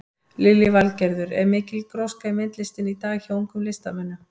Lillý Valgerður: Er mikil gróska í myndlistinni í dag hjá ungum listamönnum?